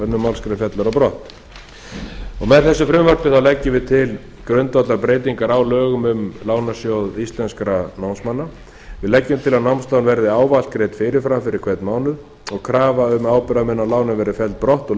málsgrein fellur á brott með þessu frumvarpi leggjum við til grundvallarbreytingar á lögum um lánasjóð íslenskra námsmanna við leggjum til að námslán verði ávallt greidd fyrirfram fyrir hvern mánuð og krafan um ábyrgðarmenn á lánum verði felld brott úr